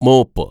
mop